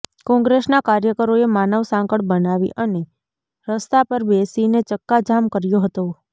કોંગ્રેસના કાર્યકરોએ માનવ સાંકળ બનાવી અને રસ્તા પર બેસીને ચક્કાજામ કર્યો હતો